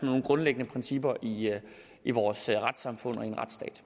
nogle grundlæggende principper i i vores retssamfund